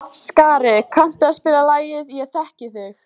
Skari, kanntu að spila lagið „Ég þekki þig“?